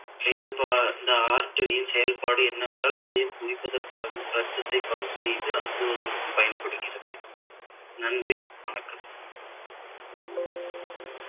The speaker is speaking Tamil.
செயல்பா~ இந்த artery ன் செயல்பாடு என்னவென்றால் இதயம் துடிப்பதற்காகவும் இரத்தத்தை pump செய்து அனுப்புவதற்கு பயன்படுகிறது நன்றி வணக்கம்